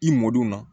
I mɔdw na